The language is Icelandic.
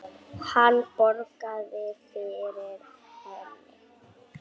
Hann bograði yfir henni.